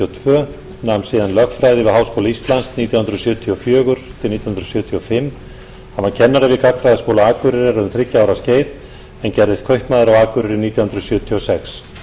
tvö nam síðan lögfræði við háskóla íslands nítján hundruð sjötíu og fjögur til nítján hundruð sjötíu og fimm hann var kennari við gagnfræðaskóla akureyrar um þriggja ára skeið en gerðist kaupmaður á akureyri nítján hundruð sjötíu og sex